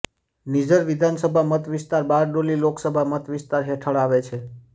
નિઝર વિધાનસભા મત વિસ્તાર બારડોલી લોકસભા મત વિસ્તાર હેઠળ આવે છે